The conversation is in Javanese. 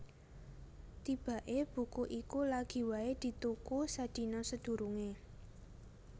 Tibaké buku iku lagi waé dituku sadina sadurungé